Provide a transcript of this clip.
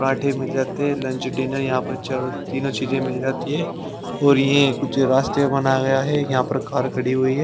पराठे मिल जाते हैं लंच डिनर यहाँ पर चारों तीनों चीजें मिल जाती है और ये कुछ रास्ते बनाया गया है यहाँ पर कार खड़ी हुई है।